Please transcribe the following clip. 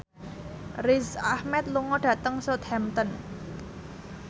Riz Ahmed lunga dhateng Southampton